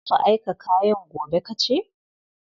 Za su aika kayan gobe, ka ce?